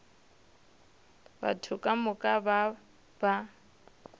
batho ka moka ba ba